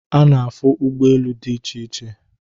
A na-afụ ụgbọelu dị iche iche